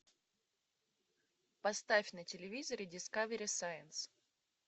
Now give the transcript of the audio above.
поставь на телевизоре дискавери сайнс